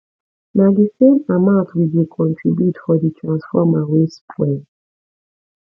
na di same amount we go contribute for di transformer wey spoil